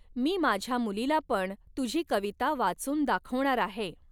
मी माझ्या मुलीला पण तुझी कविता वाचून दा़खवणार आहे.